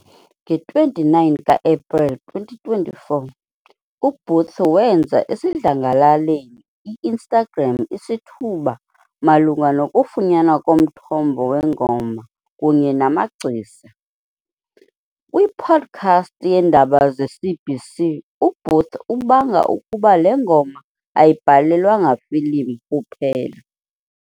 Nge-29 ka-Epreli 2024, uBooth wenza esidlangalaleni i-Instagram isithuba malunga nokufunyanwa komthombo wengoma kunye namagcisa. Kwi-podcast yeNdaba zeCBC, uBooth ubanga ukuba le ngoma ayibhalelwanga ifilimu kuphela.